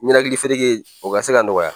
Nɛnɛkili fereke o ka se ka nɔgɔya